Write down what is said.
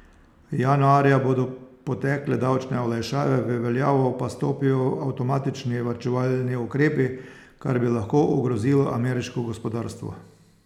Januarja bodo potekle davčne olajšave, v veljavo pa stopijo avtomatični varčevalni ukrepi, kar bi lahko ogrozilo ameriško gospodarstvo.